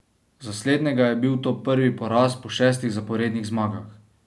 Za slednjega je bil to prvi poraz po šestih zaporednih zmagah.